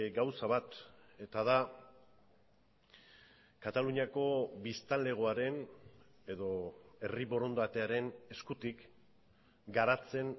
gauza bat eta da kataluniako biztanlegoaren edo herri borondatearen eskutik garatzen